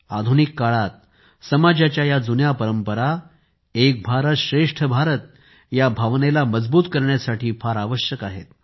आधुनिक काळात समाजाच्या या जुन्या परंपरा एक भारतश्रेष्ठ भारत या भावनेला मजबूत करण्यासाठी फार आवश्यक आहेत